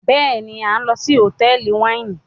béèni a n lò sí Hotẹẹli Wáìnì.